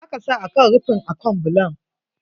Za ka sa akan rufin akan bulon.